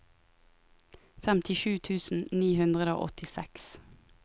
femtisju tusen ni hundre og åttiseks